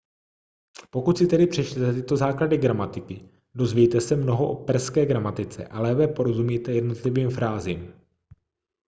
pokud si tedy přečtete tyto základy gramatiky dozvíte se mnoho o perské gramatice a lépe porozumíte jednotlivým frázím